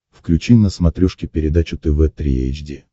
включи на смотрешке передачу тв три эйч ди